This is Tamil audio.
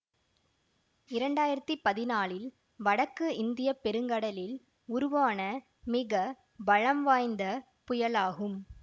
இரண்டாயிரத்தி பதினாலில் வடக்கு இந்திய பெருங்கடலில் உருவான மிக பலம் வாய்ந்த புயலாகும்